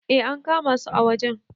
eh an kama su a wajen